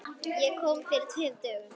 Ég kom fyrir tveimur dögum.